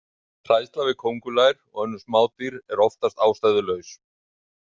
Hræðsla við köngulær og önnur smádýr er oftast ástæðulaus.